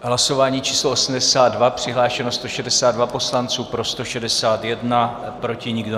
Hlasování číslo 82, přihlášeno 162 poslanců, pro 161, proti nikdo.